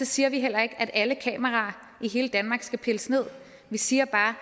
siger vi heller ikke at alle kameraer i hele danmark skal pilles nederst vi siger bare